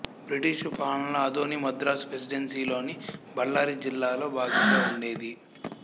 British పాలనలో ఆదోని మద్రాసు ప్రెసిడెన్సీలోని బళ్ళారి జిల్లాలో భాగంగా ఉండేది